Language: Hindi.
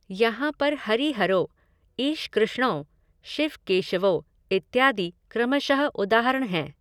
यहाँ पर हरिहरौ, ईशकृष्णौ, शिवकेशवौ इत्यादि क्रमश उदाहरण हैं।